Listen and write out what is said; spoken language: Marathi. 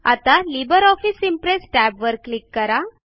आता लिब्रे ऑफिस इम्प्रेस टॅब वर क्लिक करा